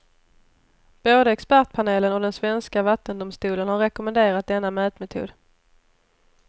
Både expertpanelen och den svenska vattendomstolen har rekommenderat denna mätmetod.